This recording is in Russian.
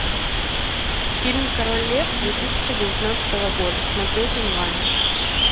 фильм король лев две тысячи девятнадцатого года смотреть онлайн